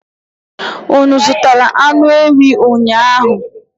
Unu azụtara anụ ewii ụnyaahụ?